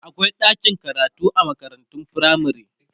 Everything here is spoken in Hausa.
akwai ɗakin karatu a makarantun firamare